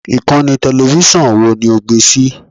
Ìkànnì tẹlẹfísọ̀n wo ni o gbé sí i!